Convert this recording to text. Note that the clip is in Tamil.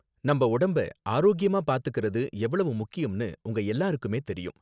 நம்ம உடம்ப ஆரோக்கியமா பார்த்துக்கறது எவ்ளோ முக்கியம்னு உங்க எல்லாருக்குமே தெரியும்